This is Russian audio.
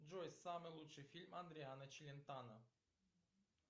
джой самый лучший фильм адриано челентано